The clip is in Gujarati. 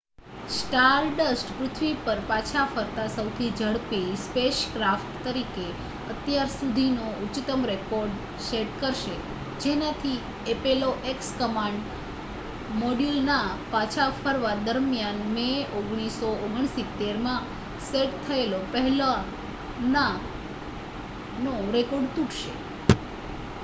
સ્ટારડસ્ટ પૃથ્વી પર પાછા ફરતા સૌથી ઝડપી સ્પેસક્રાફ્ટ તરીકે અત્યાર સુધીનો ઉચ્ચતમ રેકૉર્ડ સેટ કરશે જેનાથી એપોલો x કમાન્ડ મૉડ્યૂલના પાછા ફરવા દરમિયાન મે 1969માં સેટ થયેલો પહેલાંનો રેકૉર્ડ તૂટશે